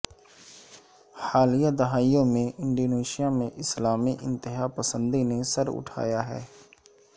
حالیہ دہائیوں میں انڈونیشیا میں اسلامی انتہا پسندی نے سر اٹھایا ہے